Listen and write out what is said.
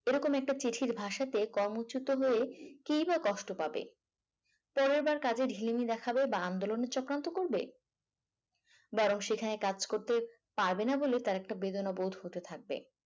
এরকম একটা চিঠির ভাষাতে কর্মচুত হয়ে কে বা কষ্ট পাবে পরের বার কাজে ঢেলেমি দেখাবে বা আন্দোলনের চক্রান্ত করবে বরং সেখানে কাজ করতে পারবে না বলে তার একটা বেদনা বোধ হতে থাকবে